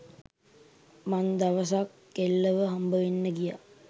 මං දවසක් කෙල්ලව හම්බවෙන්න ගියා.